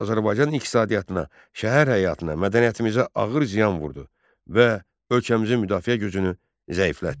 Azərbaycan iqtisadiyyatına, şəhər həyatına, mədəniyyətimizə ağır ziyan vurdu və ölkəmizin müdafiə gücünü zəiflətdi.